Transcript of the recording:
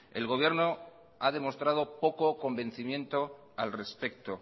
el gobierno ha demostrado poco convencimiento al respecto